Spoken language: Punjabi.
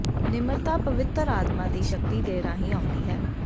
ਨਿਮਰਤਾ ਪਵਿੱਤਰ ਆਤਮਾ ਦੀ ਸ਼ਕਤੀ ਦੇ ਰਾਹੀਂ ਆਉਂਦੀ ਹੈ